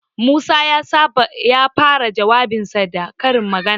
Musa ya fara jawabinsa da karin magana.